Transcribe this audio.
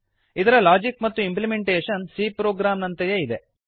ಇದರ ಲಾಜಿಕ್ ಮತ್ತು implementation c program ನಂತೆಯೇ